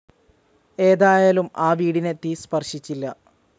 ഏതായാലും ആ വീടിനെ തീ സ്പർശിച്ചില്ല.